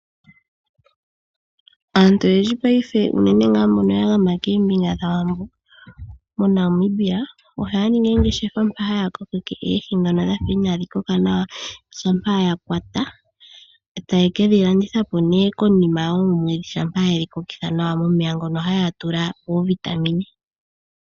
Aantu oyendji paife unene tuu mbono ya gama koombinga dhAwambo moNamibia ohaya ningi oongeshefa mpoka haya kokeke oohi ndhono dha fa inaadhi koka nawa, shampa ye dhi kwata e taye ke dhi landitha po nduno konima yoomwedhi shampa ye dhi kokeke nawa momeya mono haya tula oovitamine.